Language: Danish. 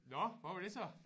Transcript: Nåh hvad var det så?